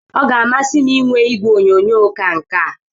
Ọ ga-amasị m inwe igwe onyonyo ka nke a